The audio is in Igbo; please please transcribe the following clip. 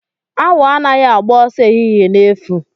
Awọ anaghị agba ọsọ ehihie na efu.